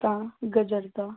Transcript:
ਤਾਂ ਗਰਜਦਾ